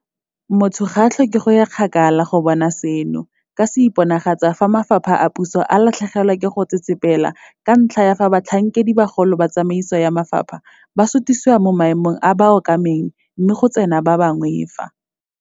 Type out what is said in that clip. Motho ga a tlhoke go ya kgakala go bona seno ka se iponagatsa fa mafapha a puso a latlhegelwa ke go tsetsepela ka ntlha ya fa batlhankedibagolo ba tsamaiso ya mafapha ba sutisiwa mo maemong a ba a okameng mme go tsena ba bangwe fa